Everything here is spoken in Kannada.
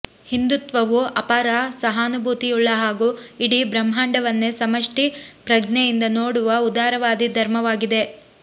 ಹಿಂದುತ್ವವು ಅಪಾರ ಸಹಾನುಭೂತಿಯುಳ್ಳ ಹಾಗೂ ಇಡೀ ಬ್ರಹ್ಮಾಂಡವನ್ನೇ ಸಮಷ್ಟಿ ಪ್ರಜ್ಞೆಯಿಂದ ನೋಡುವ ಉದಾರವಾದಿ ಧರ್ಮವಾಗಿದೆ